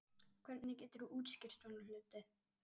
Hvernig geturðu útskýrt svona hluti?